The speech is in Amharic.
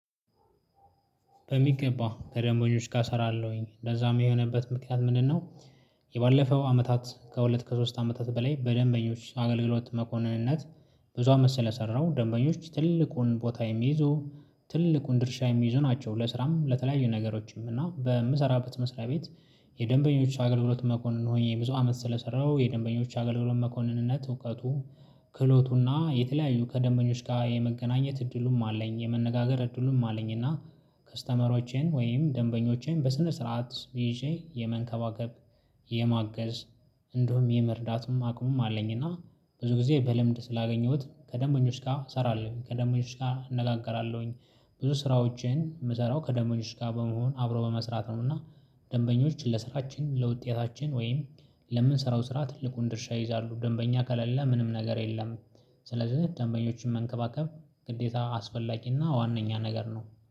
በሚገባ ከደምበኞች ጋ እሰራለሁኝ እንደዛም የሆነበት ምክንያት ምንድነው? የባለፈው አመታት ከሁለት ከሶስት አመታት በላይ በደንበኞች አገልግሎት መኮንንነት። ብዙ አመት ስለሰራሁ ደንበኞች ትልቁን ቦታ የሚይዙ ትልቁን ድርሻ የሚይዙ ናቸው። ለስራም ለተለያዩ ነገሮችም እና በምሰራበት መስሪያ ቤት። የደንበኞች አገልግሎት መኮንን ሆኜ ብዙ አመት ስለሰራው የደንበኞች አገልግሎት መኮንንነት እውቀቱ። ክህሎቱና የተለያዩ ከደንበኞች ጋር የመገናኘት እድሉም አለኝ የመነጋገር እድሉም አለኝና። ከስተመሮቼን ወይም ደንበኞቼን በስነ ስርዓት ይዤ የመንከባከብ። የማገዝ እንዲሁም የመርዳቱም አቅሙም አለኝና። ብዙ ጊዜ በልምድ ስላገኘሁት ከደንበኞች ጋ እሰራለሁ ከደምበኞች ጋ እነጋገራለሁኝ። ብዙ ስራዎችን የምሰራው ከደንበኞች ጋ በመሆን አብሮ በመስራት ነውና። ደንበኞች ለስራችን ለውጤታችን ወይም ለምንሰራው ስራ ትልቁን ድርሻ ይይዛሉ ደንበኛ ከሌለ ምንም ነገር የለም። ስለዚህ ደንበኞችን መንከባከብ ግዴታ አስፈላጊና ዋነኛ ነገር ነው